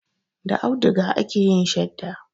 Da auduga ake yin shadda.